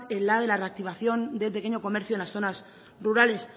el de la reactivación del pequeño comercio en las zonas rurales